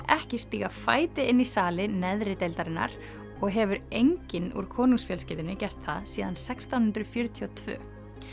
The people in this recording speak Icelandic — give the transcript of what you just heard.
ekki stíga fæti inn í sali neðri deildarinnar og hefur enginn úr konungsfjölskyldunni gert það síðan sextán hundruð fjörutíu og tvö